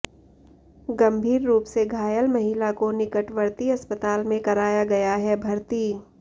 गंभीर रूप से घायल महिला को निकटवर्ती अस्पताल में कराया गया है भर्ती